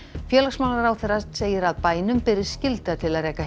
félagsmálaráðherra segir að bænum beri skylda til að reka